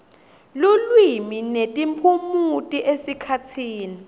lulwimi netiphumuti esikhatsini